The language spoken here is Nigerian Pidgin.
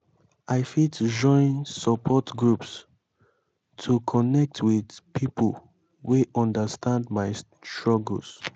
i fit join support groups to connect with pipo wey understand my struggles.